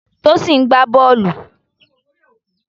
Tosin ń gbá bọ́ọ̀lù.